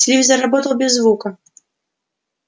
телевизор работал без звука